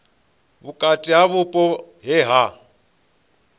vhukati ha vhupo he ha